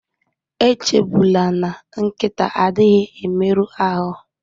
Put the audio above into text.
Echegbula na nkịta adịghị emerụ ahụ